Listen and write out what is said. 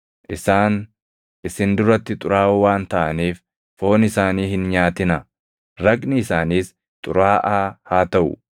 Isaan isin duratti xuraaʼoo waan taʼaniif foon isaanii hin nyaatinaa; raqni isaaniis xuraaʼaa haa taʼu.